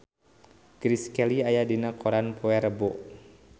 Grace Kelly aya dina koran poe Rebo